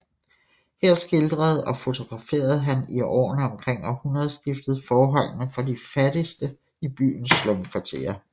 Her skildrede og fotograferede han i årene omkring århundredskiftet forholdene for de fattigste i byens slumkvarterer